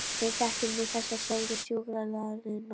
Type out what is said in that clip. Við þekkjum nú þessa, sögðu sjúkraliðarnir.